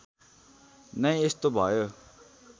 नै यस्तो भयो